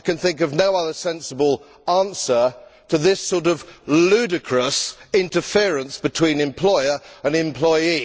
I can think of no other sensible answer to this sort of ludicrous interference between employer and employee.